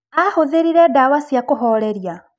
Aahũthĩrire ndawa cia kũhooreria?